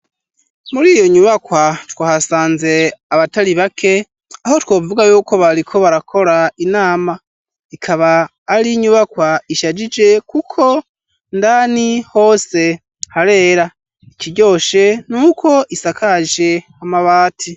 Muri iyo nyubakwa twahasanze abatari bake, aho twovuga yuko bariko barakora inama. Ikaba ari inyubakwa ishajije kuko indani hose harera. Ikiryoshe ni uko isakaje amabati.